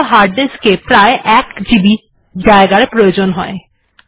এর জন্য hard disc এ প্রায় ১ জিবি জায়গার প্রয়োজন হয়